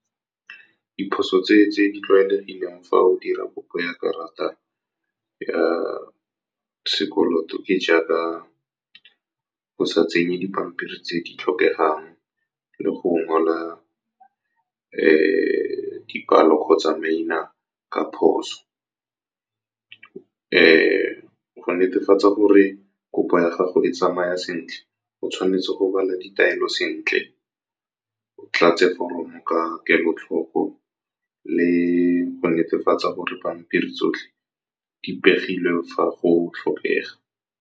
Diphoso tse di tlwaelegileng fa o dira kopo ya karata ya sekoloto ke jaaka go sa tsenye dipampiri tse di tlhokegang, le go ngwala dipalo kgotsa maina ka phoso. Go netefatsa gore kopo ya gago e tsamaya sentle, go tshwanetse go bala ditaelo sentle, o tlatse foromo ka kelotlhoko, le go netefatsa gore dipampiri tsotlhe di pegilwe fa go tlhokega.